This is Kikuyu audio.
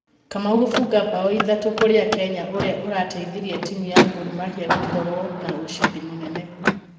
Kamau gũbunga mbao ithatũ kũrĩa Kenya ũrĩa ũrateithirie timũ ya Gor Mahia gũkoro na ũcidi mũnene.